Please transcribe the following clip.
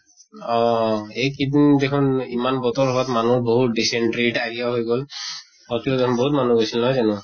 অহ এইকেইদিন দেখুন ইমান বতৰ হোৱাত মানুহৰ বহুত dysentery, diarrhea গৈ গʼল। hospital ত বহুত মানুহ হৈছিল নহয় জানো?